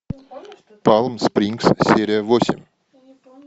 палм спрингс серия восемь